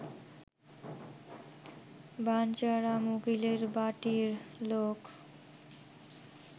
বাঞ্ছারাম উকিলের বাটীর লোক